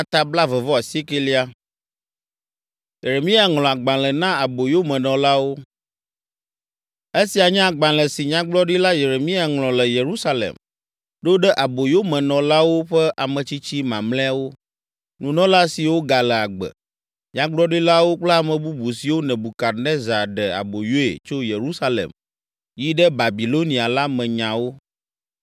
Esia nye agbalẽ si Nyagblɔɖila Yeremia ŋlɔ le Yerusalem ɖo ɖe aboyomenɔlawo ƒe ametsitsi mamlɛawo, nunɔla siwo gale agbe, nyagblɔɖilawo kple ame bubu siwo Nebukadnezar ɖe aboyoe tso Yerusalem yi ɖe Babilonia la me nyawo.